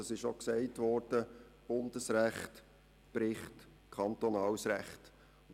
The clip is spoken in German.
Es wurde auch gesagt, dass Bundesrecht kantonales Recht bricht.